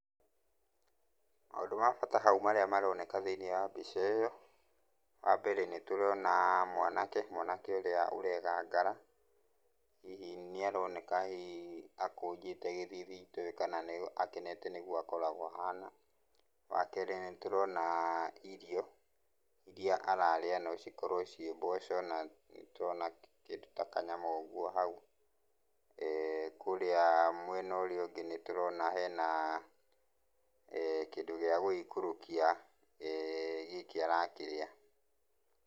Maũndũ ma bata hau marĩa maroneka thĩiniĩ wa mbica ĩyo, wambere nĩtũrona mwanake, mwanake ũrĩa ũregangara. Hihi nĩaroneka hihi akũnjĩte gĩthithi itoĩ kana akenete nĩguo akoragwo ahana. Wakerĩ nĩtũrona irio, iria ararĩa nocikorwo ciĩ mboco na nĩtũrona kĩndũ ta kanyama ũguo hau. Kũrĩa mwena ũrĩa ũngĩ nĩtũrona hena kĩndũ gĩa gũgĩikũrũkia, gĩkĩ arakĩrĩa.